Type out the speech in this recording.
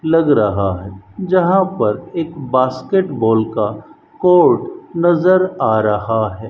लग रहा है जहां पर एक बास्केटबॉल का कोर्ट नजर आ रहा है।